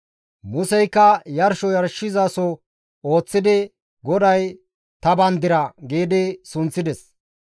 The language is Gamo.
Museykka yarsho yarshizaso ooththidi, «GODAY ta Bandira» gi sunththides.